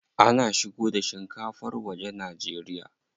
Ana shigo da shinkafar waje Najeriya.